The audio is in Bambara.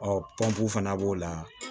pɔnpu fana b'o la